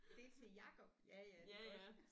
Det er til Jacob ja ja det er godt